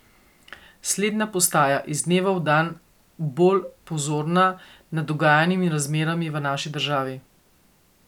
Slednja postaja iz dneva v dan bolj pozorna nad dogajanjem in razmerami v naši državi.